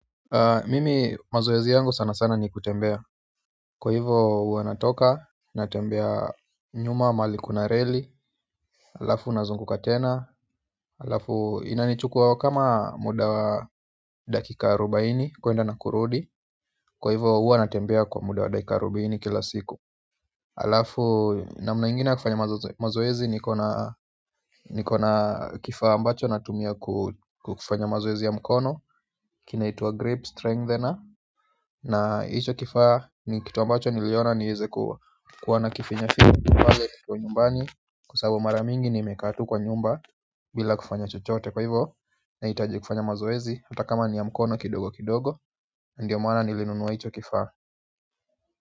Mimi mazoezi yangu sana sana ni kutembea kwa hivo huwa natoka, natembea nyuma, mahali kuna reli. Alafu nazunguka tena alafu inanichukua kama muda wa dakika arubaini kuenda na kurudi kwa hivo huwa natembea kwa muda wa dakika arubaini kila siku. Alafu namna ingine ya kufanya mazoezi nikona. Nikona kifaa ambacho natumia kufanya mazoezi ya mkono kinaitwa grip strengthener na hicho kifaa ni kitu ambacho niliona niweze kuwa na kifinya finya pale kiko nyumbani kwasababu mara mingi nimekaa tu kwa nyumba bila kufanya chochote kwa hivyo nahitaji kufanya mazoezi hata kama ni ya mkono kidogo kidogo ndiyo mana nilinunua hicho kifaa.